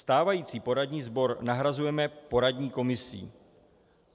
Stávající poradní sbor nahrazujeme poradní komisí.